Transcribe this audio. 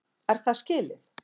Er það skilið?!